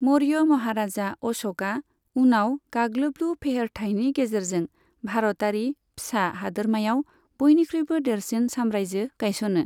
मौर्य महाराजा अश'कआ उनाव गाग्लोबलु फेहेरथाइनि गेजेरजों भारतारि फिसा हादोरमायाव बयनिख्रुइबो देरसिन साम्रायजो गायसनो।